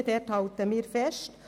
An diesen halten wir fest.